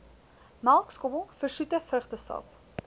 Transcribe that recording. melkskommel versoete vrugtesap